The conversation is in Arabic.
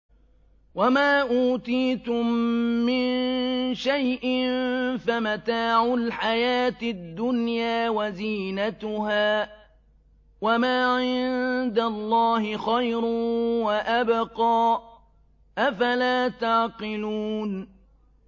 وَمَا أُوتِيتُم مِّن شَيْءٍ فَمَتَاعُ الْحَيَاةِ الدُّنْيَا وَزِينَتُهَا ۚ وَمَا عِندَ اللَّهِ خَيْرٌ وَأَبْقَىٰ ۚ أَفَلَا تَعْقِلُونَ